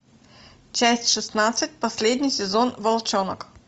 часть шестнадцать последний сезон волчонок